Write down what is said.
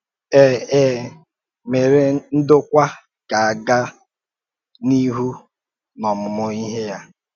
É É mèrè ndọ̀kwà ka a gàa n’ihu n’ọ́mùmụ̀ íhè ya.